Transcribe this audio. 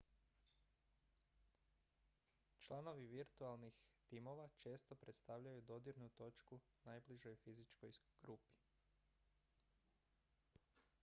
članovi virtualnih timova često predstavljaju dodirnu točku najbližoj fizičkoj grupi